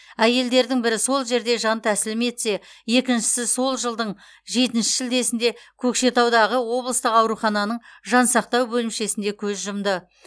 әйлдердің бірі сол жерде жан тәсілім етсе екіншісі сол жылдың жетінші шілдесіде көкшетаудағы облыстық аурухананың жансақтау бөлімшесінде көз жұмды